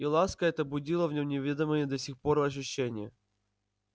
и ласка эта будила в нем неведомые до сих пор ощущения